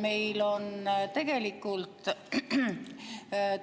Meil on tegelikult